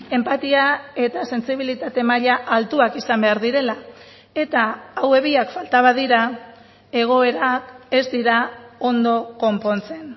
enpatia eta sentsibilitate maila altuak izan behar direla eta hauek biak falta badira egoerak ez dira ondo konpontzen